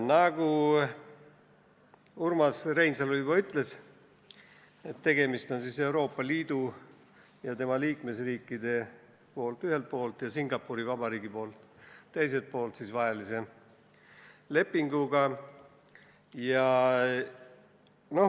Nagu Urmas Reinsalu juba ütles, tegemist on ühelt poolt Euroopa Liidu ja tema liikmesriikide ja teiselt poolt Singapuri Vabariigi vahelise lepinguga.